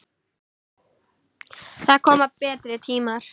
Það koma betri tímar.